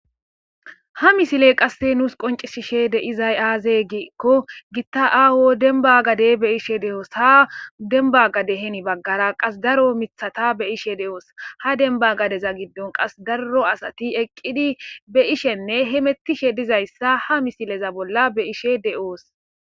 Ha misile qasse nuus qoncisishe de izay aaze giikko gitta aawo denba gade be ishe de'oos ha demba gade heni baggara qas daro mithata be ishe de'oos ha demba gadeza giddon qas darro asati eqqidi be ishenne himettishe dizayssa ha misileza bolla be ishe de'oos.